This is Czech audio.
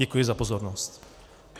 Děkuji za pozornost.